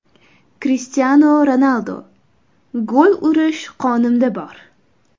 Krishtianu Ronaldu: Gol urish qonimda bor.